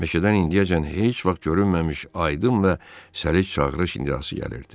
Meşədən indiyəcən heç vaxt görünməmiş aydın və səlis çağırış iniltisi gəlirdi.